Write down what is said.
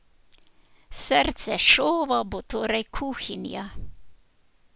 Srce šova bo torej kuhinja.